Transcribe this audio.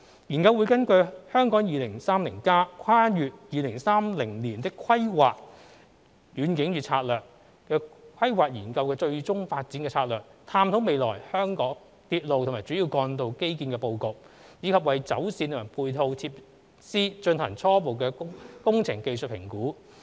研究會根據《香港 2030+： 跨越2030年的規劃遠景與策略》規劃研究的最終發展策略，探討未來香港鐵路及主要幹道基建的布局，以及為走線和配套設施進行初步工程技術評估。